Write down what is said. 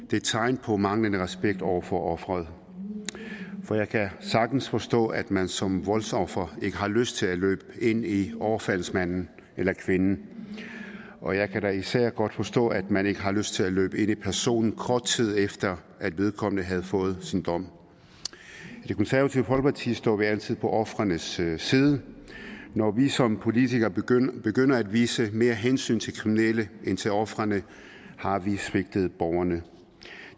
det er tegn på manglende respekt over for offeret jeg kan sagtens forstå at man som voldsoffer ikke har lyst til at løbe ind i overfaldsmanden eller kvinden og jeg kan da især godt forstå at man ikke har lyst til at løbe ind i personen kort tid efter vedkommende har fået sin dom i det konservative folkeparti står vi altid på ofrenes side og når vi som politikere begynder begynder at vise mere hensyn til kriminelle end til ofrene har vi svigtet borgerne